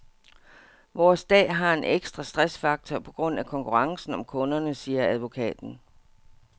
Vores dag har en ekstra stressfaktor på grund af konkurrencen om kunderne, siger advokaten.